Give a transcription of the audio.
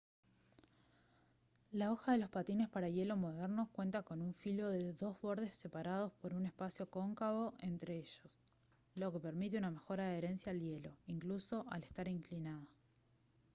la hoja de los patines para hielo modernos cuenta con un filo de dos bordes separados por un espacio cóncavo entre ellos lo que permite una mejor adherencia al hielo incluso al estar inclinada